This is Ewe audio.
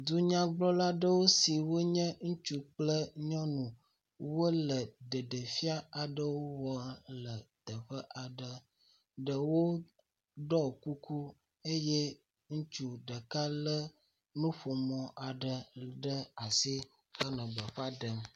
Dunyagblɔla aɖewo si wonye ŋutsu kple nyɔnu wole ɖeɖefiã aɖewo wɔm le teƒe aɖe. Ɖewo ɖɔ kuku eye ŋutsu ɖeka lé nuƒomɔ aɖe ɖe asi hele gbeƒã ɖem.